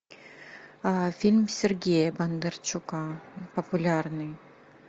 фильм сергея бондарчука популярный